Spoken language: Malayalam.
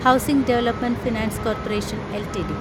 housing development finance corporation LTD